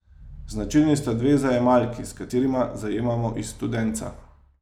Značilni sta dve zajemalki, s katerima zajemamo iz studenca.